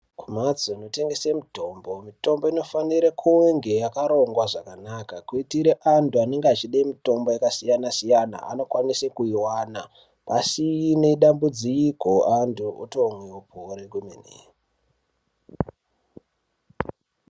Kumhatso inotengese mitombo mitombo inofanire kunge yakarongwa zvakanaka. Kuitire antu anenge achide mitombo yakasiyana-siyana anokwanise kuivana pasine dambudziko vantu votomwe vopore kwemene.